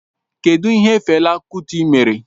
Kedụ ihe Fela Kuti mere?